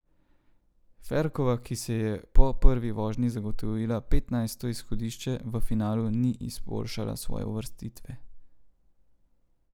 Ferkova, ki si je po prvi vožnji zagotovila petnajsto izhodišče, v finalu ni izboljšala svoje uvrstitve.